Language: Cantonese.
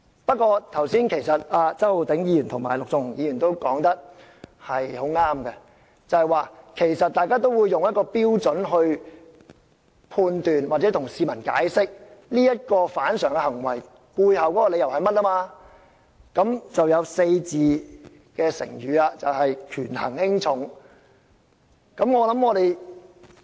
不過，周浩鼎議員及陸頌雄議員說得很正確，議員會用一個準則來作判斷或向市民解釋這種反常行為的背後理由，於是就出現了"權衡輕重"這個4字。